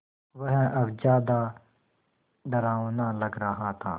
वह अब ज़्यादा डरावना लग रहा था